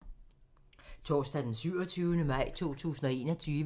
Torsdag d. 27. maj 2021